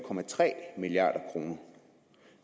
milliard kroner